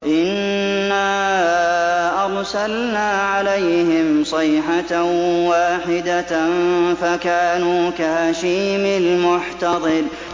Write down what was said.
إِنَّا أَرْسَلْنَا عَلَيْهِمْ صَيْحَةً وَاحِدَةً فَكَانُوا كَهَشِيمِ الْمُحْتَظِرِ